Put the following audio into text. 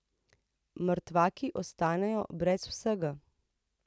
Mrtvaki ostanejo brez vsega.